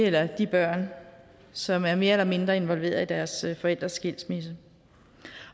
eller de børn som er mere eller mindre involveret i deres forældres skilsmisse